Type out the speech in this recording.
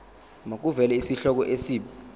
makuvele isihloko isib